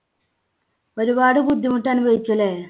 ഒരുപാട് ബുദ്ധിമുട്ട് അനുഭവിച്ചു അല്ലേ?